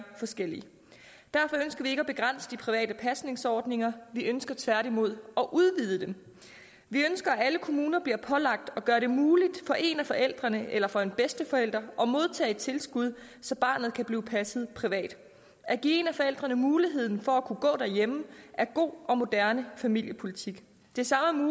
forskellige derfor ønsker vi ikke at begrænse de private pasningsordninger vi ønsker tværtimod at udvide dem vi ønsker at alle kommuner bliver pålagt at gøre det muligt for en af forældrene eller for en bedsteforælder at modtage tilskud så barnet kan blive passet privat at give en af forældrene muligheden for at kunne gå derhjemme er god og moderne familiepolitik det samme